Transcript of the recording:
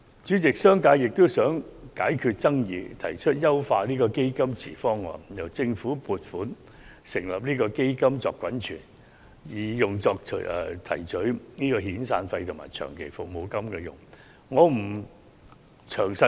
主席，商界也想解決爭議，故此提出了"優化基金池方案"，由政府撥款成立基金以作滾存，用作提取遣散費和長期服務金之用。